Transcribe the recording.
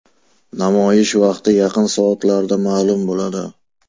Namoyish vaqti yaqin soatlarda ma’lum bo‘ladi.